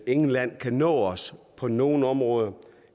intet land kan nå os på nogen områder